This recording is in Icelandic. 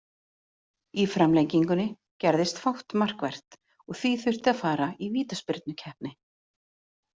Í framlengingunni gerðist fátt markvert og því þurfti að fara í vítaspyrnukeppni.